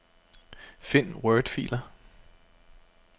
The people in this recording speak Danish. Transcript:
Find wordfiler.